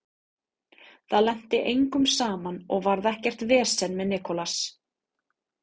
Það lenti engum saman og varð ekkert vesen með Nicolas.